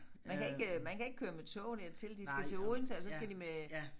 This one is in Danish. Man kan ikke øh man kan ikke køre med tog dertil de skal til Odense og så skal de med